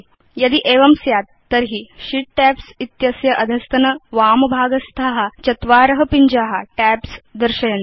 यदि एवं स्यात् तर्हि शीत् टैब्स् इत्यस्य अधस्तनवामभागस्था चत्वार पिञ्जा टैब्स् दर्शयन्ति